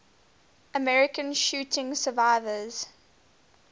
american shooting survivors